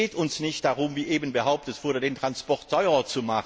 Es geht uns nicht darum, wie eben behauptet wurde, den Transport zu verteuern.